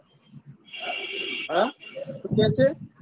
હા શું કે છે?